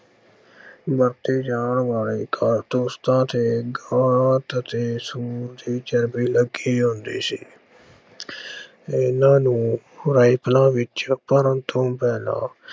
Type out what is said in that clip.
ਵਰਤੇ ਜਾਣ ਵਾਲੇ ਕਾਰਤੂਸਾਂ ਤੇ ਗਾਂ ਅਤੇ ਸੂਰ ਦੀ ਚਰਬੀ ਲੱਗੀ ਹੁੰਦੀ ਸੀ ਇਹਨਾਂ ਨੂੰ ਰਾਇਫਲਾਂ ਵਿੱਚ ਭਰਨ ਤੋਂ ਪਹਿਲਾਂ